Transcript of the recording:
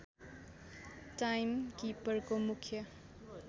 time किपरको मुख्य